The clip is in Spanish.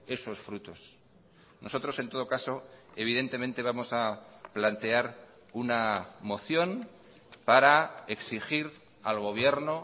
esos frutos nosotros en todo caso evidentemente vamos a plantear una moción para exigir al gobierno